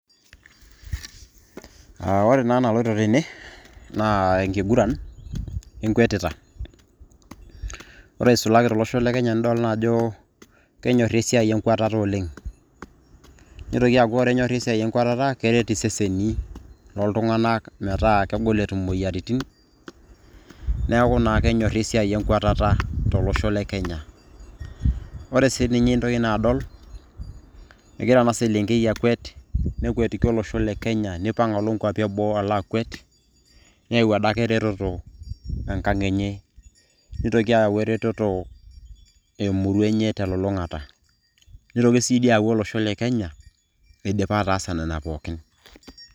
ore ena naloito tene naa enkiguran enkwetita, ore eisulaki tolosho le kenya, nidol naa ajo, kenyori esiai enkwatata oleng. neitoki aaku ore enyorri esiai enkwatata, kenyor iseseni looltung'anak, metaa kegol etum imoyiaritin. neeku naa kenyorri esiai enkwatata tolosho le kenya. ore sii ninye intoki naa adol. egira ena selenkei akwet, nekwetiki olosho lekenya. neipang' alo nkwapi eboo alo akwet, neyau adake eretoto enkang enye. nitoki ayau eretoto. emurua enye telulung'ata. nitoki sii ayau olosho le kenya idipa atasa nena pookin.